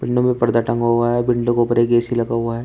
Window में पर्दा टंगा हुआ है विंडो के ऊपर एक ए_सी लगा हुआ है।